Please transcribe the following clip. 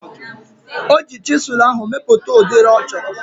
Oji chisụl ahu mepụta udiri ọ chọrọ